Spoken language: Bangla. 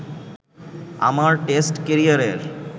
আমার টেস্ট ক্যারিয়ারের